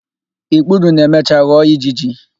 Ikpuru na-emecha ghọọ ijiji.